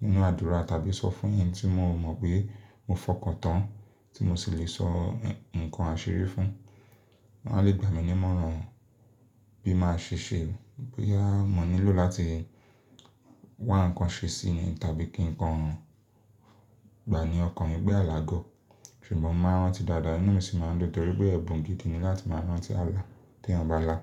nínú àdúrà tàbí sọ fún ẹni tí mo mọ̀ pé mo fọkàn tán, tí mo sì lè sọ nǹkan àṣírí fún, áá lé gbà mí ní mọ́ran bí màá ṣe ṣe, bóyá mo nílò láti wá nǹkan ṣe síi ni tàbí kí nǹkan gbàní ọkàn mi pé àlá gọ̀. Ṣùgbọ́n màá rán tí dáadáa inúu mi sì máa ń dun nítorí pé ẹ̀bùn gidi ni láti máa rán tí àlá tí èèyàn bá là.